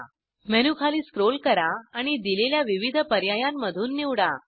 menu खाली scroll करा आणि दिलेल्या विविध पर्यायांमधून निवडा